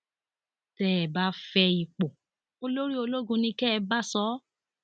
tẹ ẹ bá fẹ ipò olórí ológun ni kẹ ẹ bá sọ ọ